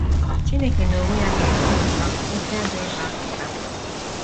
Chineke n’onwe ya ga - esi otú ahụ kwụsị ajọ ịkpọasị kpam kpam.